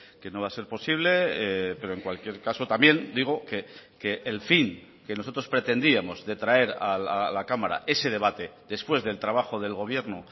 que no va a ser posible pero en cualquier caso también digo que el fin que nosotros pretendíamos de traer a la cámara ese debate después del trabajo del gobierno